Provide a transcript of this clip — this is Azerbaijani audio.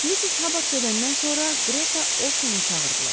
Missis Habard gedəndən sonra Greta Olsonu çağırdılar.